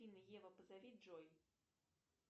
ева позови джой